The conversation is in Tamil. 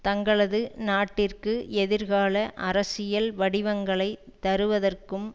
தங்களது நாட்டிற்கு எதிர்கால அரசியல் வடிவங்களை தருவதற்கும்